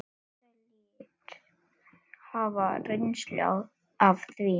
Ítalir hafa reynslu af því.